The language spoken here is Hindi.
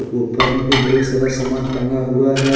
ऊपर में भी बहुत सारा सामान टंगा हुआ है।